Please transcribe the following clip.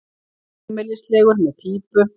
Heimilislegur með pípu.